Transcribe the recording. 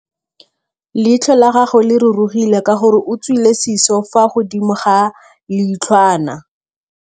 Leitlhô la gagwe le rurugile ka gore o tswile sisô fa godimo ga leitlhwana.